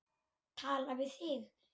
Tala við þig.